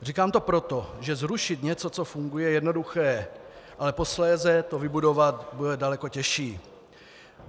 Říkám to proto, že zrušit něco, co funguje, je jednoduché, ale posléze to vybudovat bude daleko těžší.